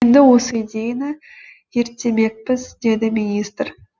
енді осы идеяны зерттемекпіз деді министр